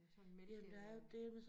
Ja sådan mælke